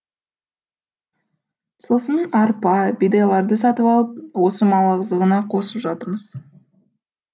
сосын арпа бидайларды сатып алып осы мал азығына қосып жатырмыз